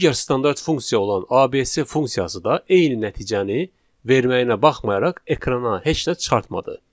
Digər standart funksiya olan ABC funksiyası da eyni nəticəni verməyinə baxmayaraq ekrana heç nə çıxartmadı.